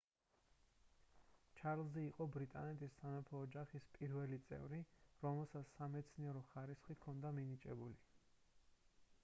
ჩარლზი იყო ბრიტანეთის სამეფო ოჯახის პირველი წევრი რომელსაც სამეცნიერო ხარისხი ჰქონდა მინიჭებული